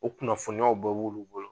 o kunnafoniyaw bɛɛ b'olu bolo